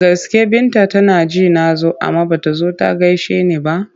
Da gaske Binta tana ji na zo amma ba ta zo ta gaishe ni ba?